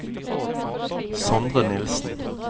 Sondre Nilssen